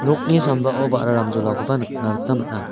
nokni sambao ba·ra ramjolakoba nikna gita man·a.